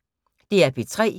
DR P3